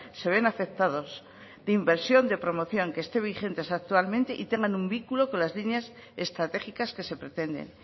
se ven afectados de inversión de promoción que estén vigentes actualmente y que tengan un vínculo con las líneas estratégicas que se pretenden